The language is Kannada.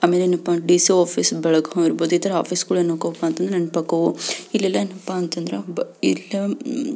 ಆಮೇಲೆ ಏನಪ್ಪಾ ಅಂದ್ರೆ ಡಿಸಿ ಆಫೀಸ್ ಬೆಳಗಾಂ ಇರ್ಬೋದು ಇಥರ ಆಫೀಸ್ ಗಳು ಏನಪ ಅಂತ ಅಂದ್ರ ನೆನಪ್ ಆಗ್ತವು ಇಲ್ಲಲ್ಲ ಎನಪ ಅಂತ ಅಂದ್ರೆ ಇಲ್ಲಿ --